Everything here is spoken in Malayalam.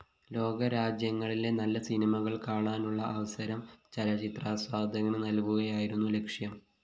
ലോകരാജ്യങ്ങളിലെ നല്ല സിനിമകള്‍ കാണാനുള്ള അവസരം ചലച്ചിത്രാസ്വാദകന് നല്‍കുകയായിരുന്നു ലക്ഷ്യം